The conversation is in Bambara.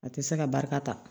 A tɛ se ka barika ta